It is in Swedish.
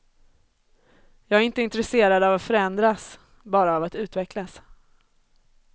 Jag är inte intresserad av att förändras, bara av att utvecklas.